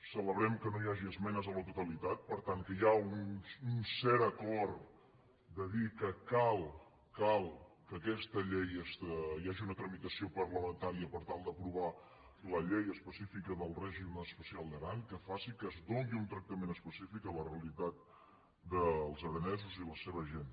celebrem que no hi hagi esmenes a la totalitat per tant que hi ha un cert acord de dir que cal que hi hagi una tramitació parlamentària per tal d’aprovar la llei específica del règim especial d’aran que faci que es doni un tractament específic a la realitat dels aranesos i la seva gent